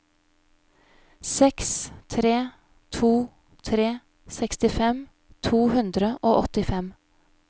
seks tre to tre sekstifem to hundre og åttifem